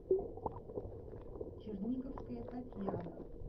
черниговская татьяна